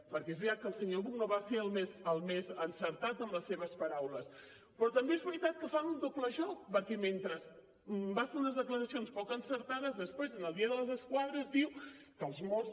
perquè és veritat que el senyor buch no va ser el més encertat amb les seves paraules però també és veritat que fan un doble joc perquè mentre va fer unes declaracions poc encertades després en el dia de les esquadres diu que els mossos